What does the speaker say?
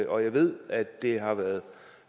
jeg ved at det har været